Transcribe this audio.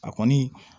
A kɔni